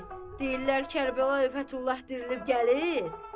Deyirlər Kərbəlayı Fətullah dirilib gəlir.